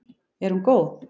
Er hún góð?